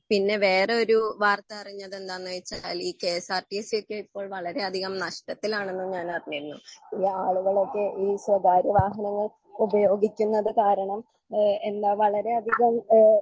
പിന്നെ വേറെ ഒരു വാർത്ത അരിഞ്ഞെതെന്താന്ന് വെച്ചാലി കെഎസ്ആർട്ടിസിയൊക്കെ ഇപ്പോൾ വളരെ അധികം നഷ്ട്ടത്തിലാണെന്ന് ഞാൻ അറിഞ്ഞിരുന്നു ഈ ആളുകളൊക്കെ ഈ സ്വകാര്യ വാഹനങ്ങൾ ഉപയോഗിക്കുന്നത് കാരണം ഏഹ് എന്താ വളരെ അധികം ഏഹ്